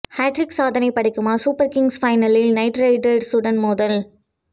hat trick சாதனை படைக்குமா super kings பைனலில் நைட் ரைடர்சுடன் மோதல்